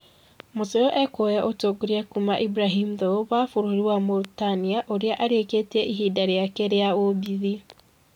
Msuyu ekwoya ũtongoria kuuma Ibrahim Thiaw wa bũrũri wa Mauritania ũrĩa arĩkĩtie ĩbida rĩake rĩa obithi